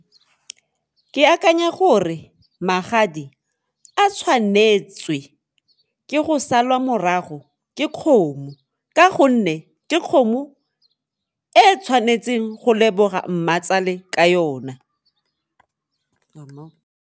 Ke akanya gore magadi a tshwanetswe ke go salwa morago ke kgomo ka gonne ke kgomo e tshwanetseng go leboga mmatsale ka yona.